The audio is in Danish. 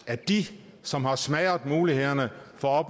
at de som har smadret mulighederne for